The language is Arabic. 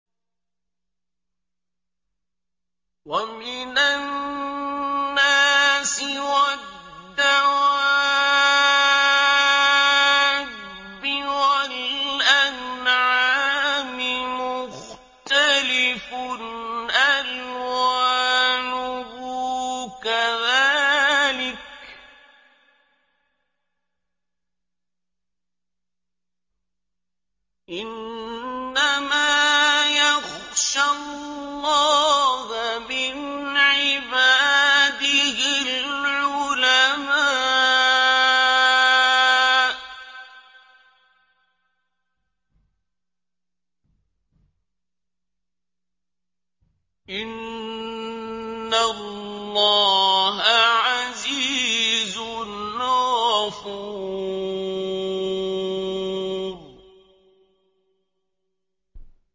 وَمِنَ النَّاسِ وَالدَّوَابِّ وَالْأَنْعَامِ مُخْتَلِفٌ أَلْوَانُهُ كَذَٰلِكَ ۗ إِنَّمَا يَخْشَى اللَّهَ مِنْ عِبَادِهِ الْعُلَمَاءُ ۗ إِنَّ اللَّهَ عَزِيزٌ غَفُورٌ